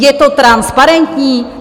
Je to transparentní?